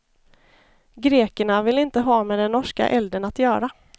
Grekerna vill inte ha med den norska elden att göra.